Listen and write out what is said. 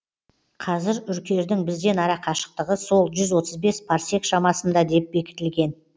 қазір үркердің бізден арақашықтығы сол жүз отыз бес парсек шамасында деп бекітілген